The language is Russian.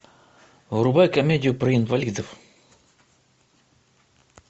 врубай комедию про инвалидов